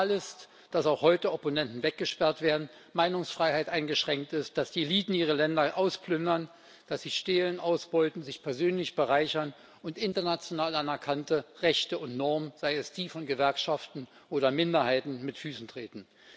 Real ist, dass auch heute Opponenten weggesperrt werden, die Meinungsfreiheit eingeschränkt ist, dass die Eliten ihre Länder ausplündern, dass sie stehlen, ausbeuten, sich persönlich bereichern und international anerkannte Rechte und Normen seien es die von Gewerkschaften oder Minderheiten mit Füßen treten.